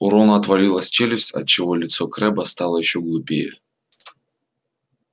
у рона отвалилась челюсть отчего лицо крэбба стало ещё глупее